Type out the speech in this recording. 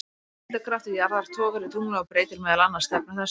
Þyngdarkraftur jarðar togar í tunglið og breytir meðal annars stefnu þess.